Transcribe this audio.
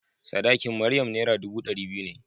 Sadakin Maryam Naira dubu ɗari biyu ne.